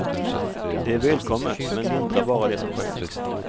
Det är välkommet, men lindrar bara det som sker.